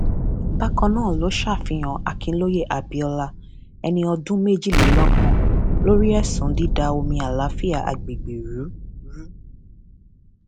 bákan náà ló ṣàfihàn akinlóye abiola ẹni ọdún méjìlélọgbọn lórí ẹsùn dída omi àlàáfíà àgbègbè rú rú